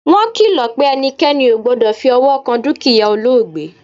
wọn kìlò̩ pe ẹnikẹni ò gbọdọ̀ fi ọwọ́ kan dúkìyá olóògbé